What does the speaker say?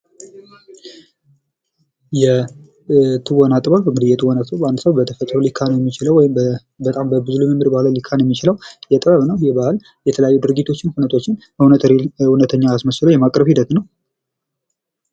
የትወና ጥበብ፦ የትወና ጥበብ እንግድህ አንድ ሰው በተፈጥሮ ሊካለው የሚችለው ወይም በብዙ ልምምድ ሊካነው የሚችለው ጥበብ ነው። ይህ ጥበብ የተለያዩ ሁኔታዎችን ድርጊቶችን እውነት አስመስሎ የማቅረብ ሂደት ነው።